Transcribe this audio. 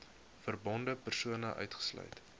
verbonde persone uitgesluit